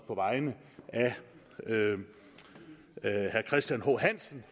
på vegne af herre christian h hansen